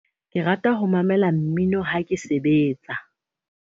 Ke rata ho mamela mmino ha ke sebetsa.